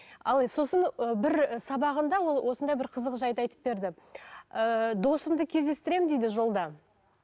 ал сосын ы бір сабағында ол осындай бір қызық жайды айтып берді ыыы досымды кездестіремін деді жолда